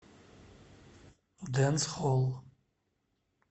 дэнсхолл